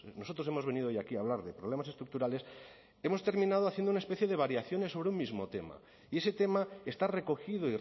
nosotros hemos venido hoy aquí a hablar de problemas estructurales hemos terminado haciendo una especie de variaciones sobre un mismo tema y ese tema está recogido